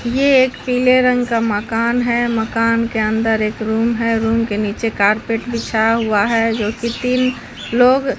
यह एक पीले रंग का मकान है मकान के अंदर एक रूम है रूम के नीचे कारपेट बिछा हुआ है जो कि तीन लोग--